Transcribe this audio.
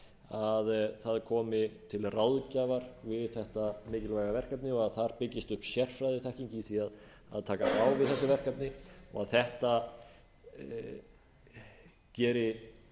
að það komi til ráðgjafar við þetta mikilvæga verkefni og að þar byggist upp sérfræðiþekking í því að takast á við þessi verkefni og að þetta geri